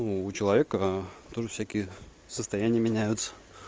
ну у человека тоже всякие состояние меняются